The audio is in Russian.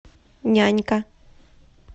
нянька